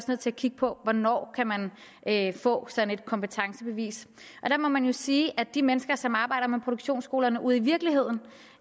nødt til at kigge på hvornår man man kan få sådan et kompetencebevis der må man jo sige at de mennesker som arbejder med produktionsskolerne ude i virkeligheden